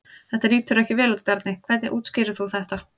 Þetta lítur ekki vel út Bjarni, hvernig útskýrir þú þetta?